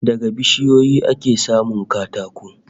Daga bishiyoyi ake samun katako